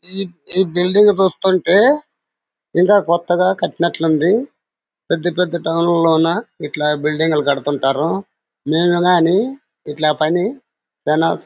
ఈ బిల్డింగ్ చూస్తుంటే ఇంకా కొత్తగా కట్టినట్టుంది. పెద్ద పెద్ద తౌన్ల్లోన ఇట్లా బిల్డింగ్ లు కడుతుంటారు. మెం ఇలానే ఇట్లా పని ధన్ --